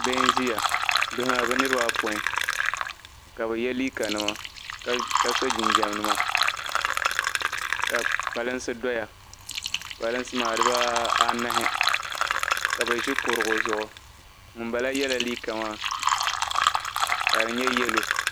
Bihi ayopoin n ʒiyaka yɛ liiga nima ni jinjama ka kpalansi doya kpalansi maa dibaanahi ka bi ʒi kurugu zuɣu ŋunbala yɛla liiga yellow